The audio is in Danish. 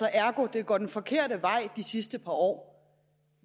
og ergo er det gået den forkerte vej de sidste par år